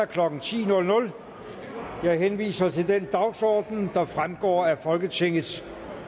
klokken ti jeg henviser til den dagsorden der fremgår af folketingets